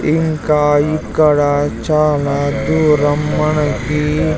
ఇంకా ఇక్కడ చాలా దూరం మనకి --